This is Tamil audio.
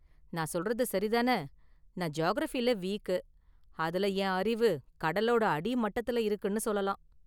நான் சொல்றது சரி தான? நான் ஜியாகிரஃபில வீக், அதுல என் அறிவு கடலோட அடி மட்டத்தில் இருக்குன்னு சொல்லலாம்.